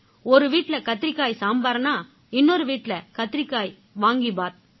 ஒரு வீட்டுல கத்திரிக்காய் சாம்பார்னா இன்னொரு வீட்டில கத்திரிக்காய் வாங்கிபாத்